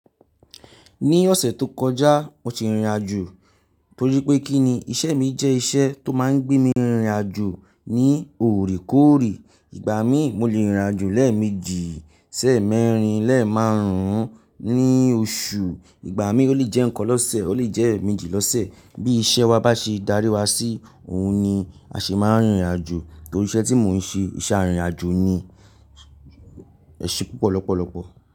Ní ọ̀sẹ̀ tó kọjá mo ti rìnrìn àjò torí pé kí ni iṣẹ́ mi jẹ́ iṣẹ́ tó máa ń gbé mi rìnrìn àjò ní òrèkóòrè. Ìgbà mí mo lè rìnrìn àjò lẹ́ẹ̀mejì, lẹ́ẹ̀mẹ́rin, lẹ́ẹ̀ márùn-ún ní oṣù. Ìgbà mí ó lè jẹ́ eekan lọ́sẹ̀ ó lè jẹ́ èemejì lọ́sẹ̀. Bí iṣẹ́ wa bá ṣe darí wa sí òhun ni a ṣe máa ń rìnrìn àjò torí iṣẹ́ tí mò ń ṣe iṣẹ́ àrìnrinàjò ni. Ẹ̀ṣé púpọ̀ lọ́pọ̀lọpọ̀.